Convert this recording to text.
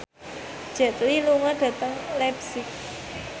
Jet Li lunga dhateng leipzig